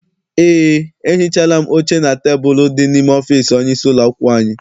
Eé, ehichaala m oche na tebulu dị n'ime ọfịịsi onye isi ụlọakwụkwọ anyị.